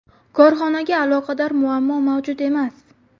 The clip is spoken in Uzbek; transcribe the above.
Korxonaga aloqador muammo mavjud emas.